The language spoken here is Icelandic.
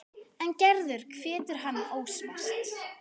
En Gerður hvetur hann óspart.